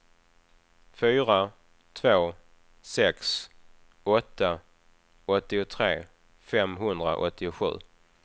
fyra två sex åtta åttiotre femhundraåttiosju